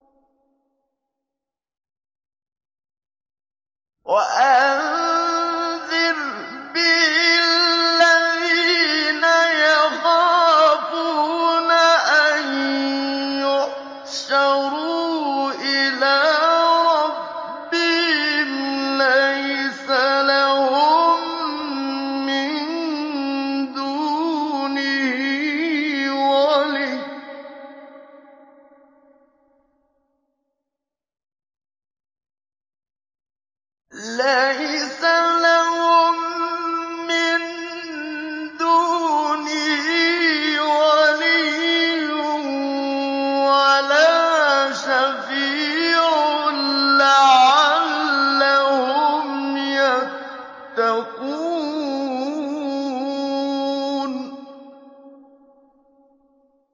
وَأَنذِرْ بِهِ الَّذِينَ يَخَافُونَ أَن يُحْشَرُوا إِلَىٰ رَبِّهِمْ ۙ لَيْسَ لَهُم مِّن دُونِهِ وَلِيٌّ وَلَا شَفِيعٌ لَّعَلَّهُمْ يَتَّقُونَ